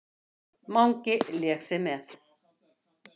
Mangi lék sér með.